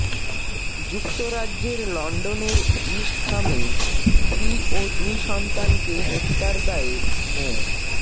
যুক্তরাজ্যেের লন্ডনের ইস্টহামে স্ত্রী ও দুই সন্তানকে হত্যার দায়ে মো